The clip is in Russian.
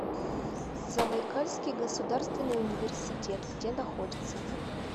забайкальский государственный университет где находится